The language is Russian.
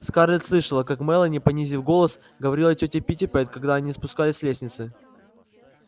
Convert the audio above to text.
скарлетт слышала как мелани понизив голос говорила тете питтипэт когда они спускались с лестницы